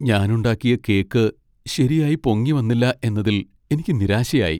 ഞാൻ ഉണ്ടാക്കിയ കേക്ക് ശരിയായി പൊങ്ങിവന്നില്ല എന്നതിൽ എനിക്ക് നിരാശയായി .